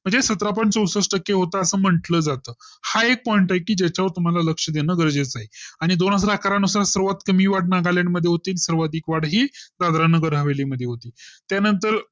म्हणजे सतरा point चौसष्ठ टक्के होता असं म्हटलं जातं हा एक Point आहे कि ज्याच्या वर तुम्हांला लक्ष देणं गरजेचं आहे आणि दोन हजार अकरा नुसार सर्वात कमी वाढ नागालॅंड मध्ये तील सर्वाधिक वाढ ही दादर नगर हवेली मध्ये होती त्यानंतर